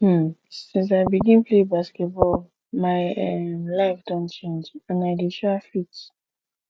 um since i begin play basketball my um life don change and i dey um fit